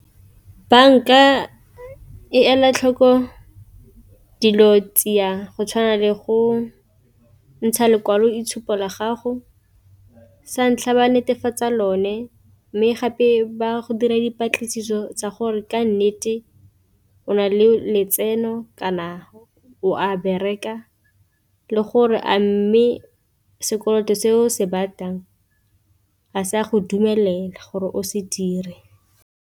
Banka e ela tlhoko dilo tsia di go tshwana le go ntsha lekwaloitshupo la gago, sa ntlha ba netefatsa lone mme gape ba go dira dipatlisiso tsa gore ka nnete o na le letseno kana o a bereka, le gore a mme sekoloto se o se batlang a se a go dumelela gore o se dire.